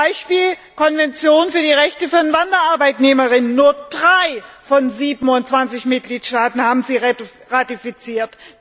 Beispiel Konvention zum Schutz der Rechte aller Wanderarbeitnehmer Nur 3 von 27 Mitgliedstaaten haben sie ratifiziert.